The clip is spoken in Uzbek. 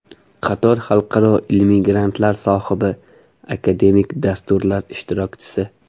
Qator xalqaro ilmiy grantlar sohibi, akademik dasturlar ishtirokchisi.